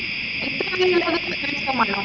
ഇത്ര confirm ആണോ